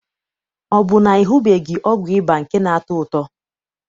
Ọ bụ na ị hụbeghị ọgwụ ịba nke na-atọ ụtọ?